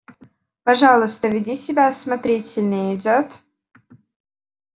пожалуйста веди себя осмотрительнее идёт